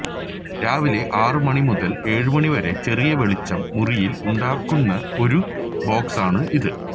രാവിലെ ആറ് മണി മുതല് ഏഴുമണിവരെ ചെറിയ വെളിച്ചം മുറിയില് ഉണ്ടാക്കുന്ന ഒരു ബോക്സാണ് ഇത്